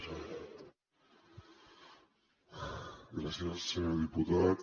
gràcies senyor diputat